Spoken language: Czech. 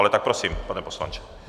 Ale tak prosím, pane poslanče.